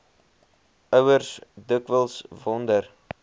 ouers dikwels wonder